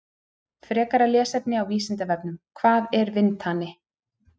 Frekara lesefni á Vísindavefnum: Hvað er vindhani?